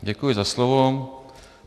Děkuji za slovo.